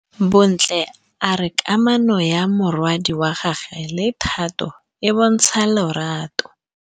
Bontle a re kamanô ya morwadi wa gagwe le Thato e bontsha lerato.